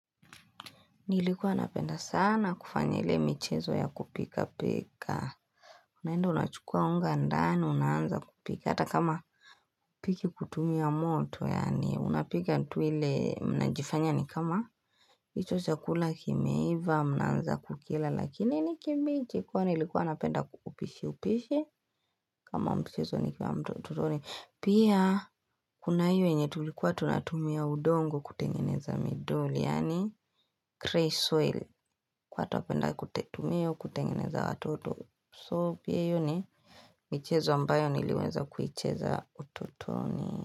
Nilikuwa napenda sana kufanya ile michezo ya kupika pika. Unaenda unachukua unga ndani unaanza kupika. Hata kama hupiki kutumia moto yaani unapika ni tuile mnajifanya ni kama. Hicho chakula kimeiva mnaanza kukila lakini nikibichi kwa nilikuwa napenda kupishi upishi. Kama mchezo nikua mtututoni. Hicho chakula kimeiva mnaanza kukila lakini nikimbichi kwa nilikuwa napenda kupishi upishi. Kwa atapenda kutetumio kutengeneza watoto So pia hio ni michezo ambayo niliweza kuicheza utotoni.